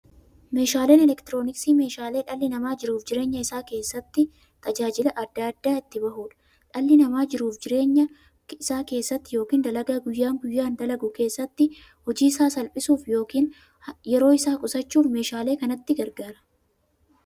Meeshaaleen elektirooniksii meeshaalee dhalli namaa jiruuf jireenya isaa keessatti, tajaajila adda addaa itti bahuudha. Dhalli namaa jiruuf jireenya isaa keessatti yookiin dalagaa guyyaa guyyaan dalagu keessatti, hojii isaa salphisuuf yookiin yeroo isaa qusachuuf meeshaalee kanatti gargaarama.